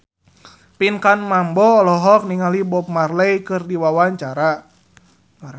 Pinkan Mambo olohok ningali Bob Marley keur diwawancara